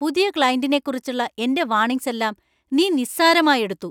പുതിയ ക്‌ളൈന്‍റിനെക്കുറിച്ചുള്ള എന്‍റെ വാർണിങ്സ് എല്ലാം നീ നിസ്സാരമായി എടുത്തു.